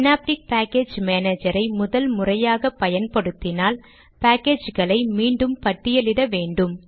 synaptic package மானேஜரை முதன் முறையாக பயன்படுத்தினால் பாக்கேஜ்களை மீண்டும் பட்டியலிட வேண்டும்